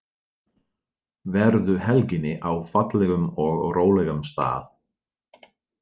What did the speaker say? Verðu helginni á fallegum og rólegum stað.